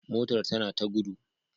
Motar tana ta gudu